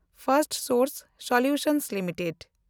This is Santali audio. ᱯᱷᱮᱱᱰᱥᱴᱥᱚᱨᱥ ᱥᱚᱞᱦᱮ ᱞᱤᱢᱤᱴᱮᱰ